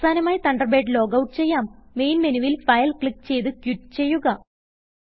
അവസാനമായി Thunderbird log out ചെയ്യാം main മെനുവിൽ ഫൈൽ ക്ലിക്ക് ചെയ്ത് ക്വിറ്റ് ചെയ്യുക